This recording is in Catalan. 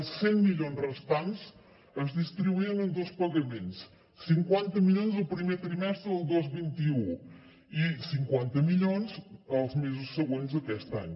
els cent milions restants es distribuïen en dos pagaments cinquanta milions el primer trimestre del dos mil vint u i cinquanta milions els mesos següents d’aquest any